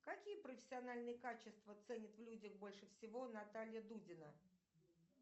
какие профессиональные качества ценит в людях больше всего наталья дудина